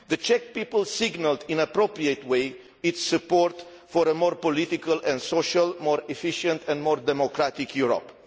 The Czech people signalled in an appropriate way its support for a more political and social, more efficient and more democratic Europe.